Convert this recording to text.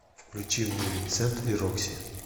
включи мне винсент и рокси